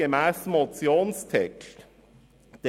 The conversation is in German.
Gemäss Motionstext wird verlangt: